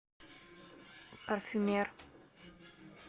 парфюмер